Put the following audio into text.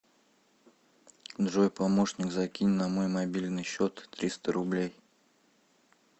джой помощник закинь на мой мобильный счет триста рублей